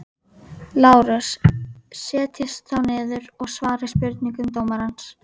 LÁRUS: Setjist þá niður og svarið spurningum dómarans.